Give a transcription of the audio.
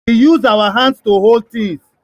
We use our hands to hold things